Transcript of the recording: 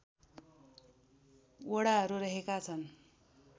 वडाहरू रहेका छन्